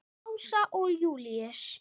Ása og Júlíus.